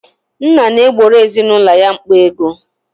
Nna na-egboro ezinaụlọ ya mkpa ego.